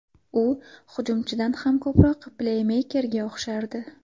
U hujumchidan ham ko‘proq pleymeykerga o‘xshardi.